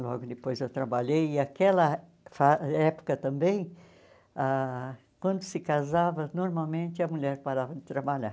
Logo depois eu trabalhei e aquela fa época também, ah quando se casava, normalmente a mulher parava de trabalhar.